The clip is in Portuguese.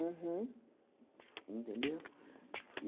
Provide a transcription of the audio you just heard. Uhum. Entendeu?